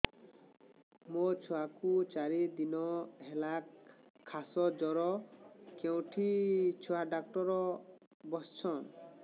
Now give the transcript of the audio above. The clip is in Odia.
ମୋ ଛୁଆ କୁ ଚାରି ଦିନ ହେଲା ଖାସ ଜର କେଉଁଠି ଛୁଆ ଡାକ୍ତର ଵସ୍ଛନ୍